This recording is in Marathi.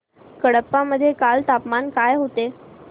कडप्पा मध्ये काल तापमान काय होते